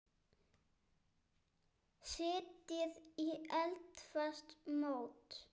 Setjið í eldfast mót.